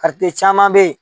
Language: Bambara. caman bɛ yen